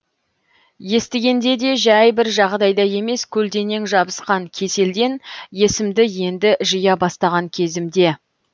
естігенде де жай бір жағдайда емес көлденең жабысқан кеселден есімді енді жия бастаған кезімде